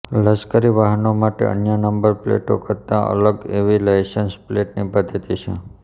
લશ્કરી વાહનો માટે અન્ય નંબર પ્લેટો કરતાં અલગ એવી લાઇસન્સ પ્લેટની પધ્ધતી છે